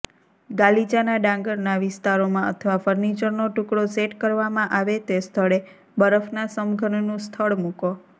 ગાલીચાના ડાંગરના વિસ્તારોમાં અથવા ફર્નિચરનો ટુકડો સેટ કરવામાં આવે તે સ્થળે બરફના સમઘનનું સ્થળ મૂકો